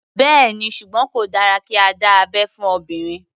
Bẹ́ẹ̀ni, ṣùgbọ́n kò dára kí a dá abẹ́ fún obìnrin.